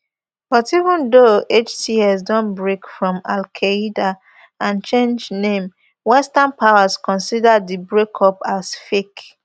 but even though hts don break from alqaeda and change name western powers consider di breakup as fake